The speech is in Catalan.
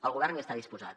el govern hi està disposat